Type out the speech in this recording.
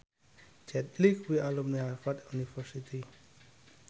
Jet Li kuwi alumni Harvard university